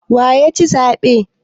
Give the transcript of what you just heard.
Waye ya ci zaɓe?